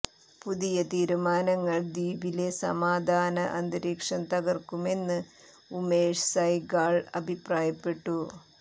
പുതിയ തീരുമാനങ്ങൾ ദ്വീപിലെ സമാധാന അന്തരീക്ഷം തകർക്കുമെന്ന് ഉമേഷ് സൈഗാൾ അഭിപ്രായപ്പെട്ടു